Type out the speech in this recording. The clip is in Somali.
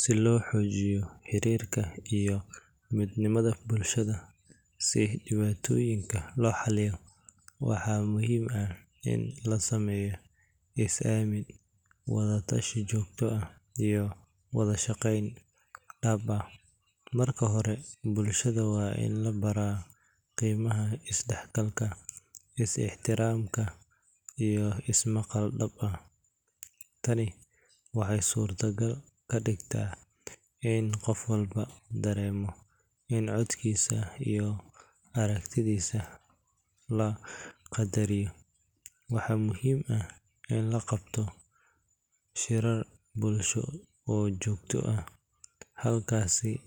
Si loo xoojiyo xiriirka iyo midnimada bulshada si dhibaatooyinka loo xalliyo, waxaa muhiim ah in la sameeyo is-aamin, wada-tashi joogto ah iyo wada shaqayn dhab ah. Marka hore, bulshada waa in la baraa qiimaha is-dhexgalka, is-ixtiraamka iyo is-maqal dhab ah. Tani waxay suurtogal ka dhigtaa in qof walba dareemo in codkiisa iyo aragtidiisa la qadariyo. Waxaa muhiim ah in la qabto shirar bulsho oo joogto ah halkaasoo